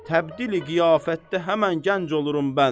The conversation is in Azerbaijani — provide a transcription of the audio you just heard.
Təbdili qiyafətdə həmin gənc olurum mən.